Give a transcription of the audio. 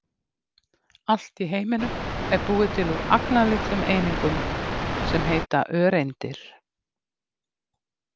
Allt í heiminum er búið til úr agnarlitlum einingum sem heita öreindir.